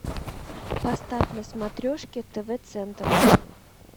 поставь на смотрешке тв центр